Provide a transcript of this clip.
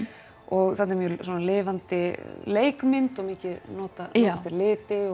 og þarna er mjög lifandi leikmynd og mikið notast við liti